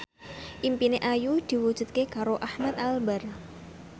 impine Ayu diwujudke karo Ahmad Albar